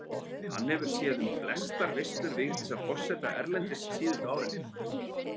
Hann hefur séð um flestar veislur Vigdísar forseta erlendis síðustu árin.